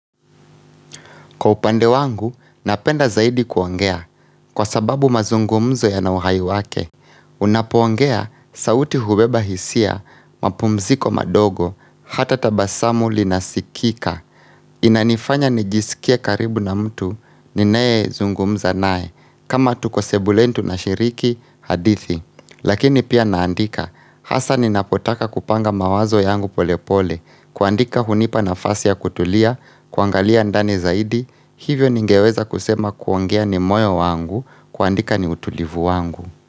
Kwa upande wangu, napenda zaidi kuongea. Kwa sababu mazungumzo yana uhai wake, unapoongea sauti hubeba hisia, mapumziko madogo, hata tabasamu linasikika. Inanifanya nijisikia karibu na mtu, ninayezungumza nae, kama tuko sebuleni tunashiriki hadithi. Lakini pia naandika, hasa ninapotaka kupanga mawazo yangu pole pole, kuandika hunipa nafasi ya kutulia, kuangalia ndani zaidi, hivyo ningeweza kusema kuongea ni moyo wangu, kuandika ni utulivu wangu.